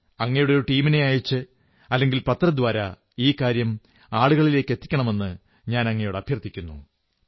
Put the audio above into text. അങ്ങയുടെ ഒരു ടീമിനെ അയച്ച് അല്ലെങ്കിൽ പത്രദ്വാരാ ഈ കാര്യം ആളുകളിലെത്തിക്കണമെന്ന് അങ്ങയോട് അഭ്യർഥിക്കുന്നു